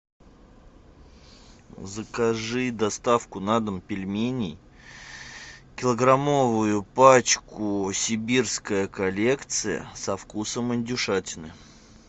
закажи доставку на дом пельменей килограммовую пачку сибирская коллекция со вкусом индюшатины